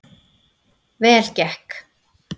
Vel gekk